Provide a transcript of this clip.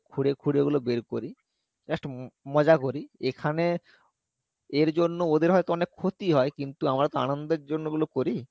খুঁড়ে খুঁড়ে ওগুলো বের করি just ম~মজা করি এখানে এর জন্য ওদের হয়তো অনেক ক্ষতি হয় কিন্তু আমরা তো আনন্দের জন্য ওগুলো করি